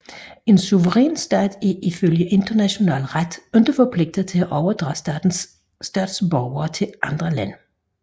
En suveræn stat er ifølge international ret ikke forpligtet til at overdrage statens statsborgere til andre lande